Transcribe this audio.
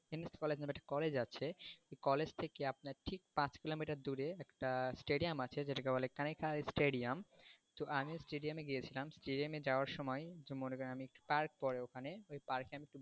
college নামে একটা college আছে ওই college থেকে আপনার ঠিক পাঁচ কিলোমিটার দূরে একটা stadium আছে যেটাকে বলে কানিকার stadium তো আমি ওই stadium এ গিয়েছিলাম stadium এ গিয়ে যাওয়ার সময়ে মনে করেন park পড়ে ওখানে ওই park এ আমি একটু বসেছিলাম,